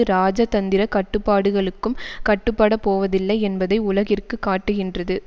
இராஜதந்திர கட்டுப்பாடுகளுக்கும் கட்டுப்படப்போவதில்லை என்பதை உலகிற்கு காட்டுகின்றது